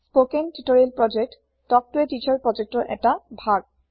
spoken tutorial project talk ত a teacher প্ৰজ্যেক্তৰ ১টা ভাগ